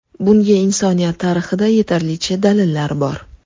Bunga insoniyat tarixida yetarlicha dalillar bor.